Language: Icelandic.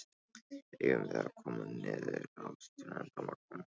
Eigum við að koma niður á strönd á morgun?